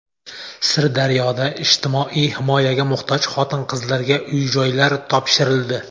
Sirdaryoda ijtimoiy himoyaga muhtoj xotin-qizlarga uy-joylar topshirildi.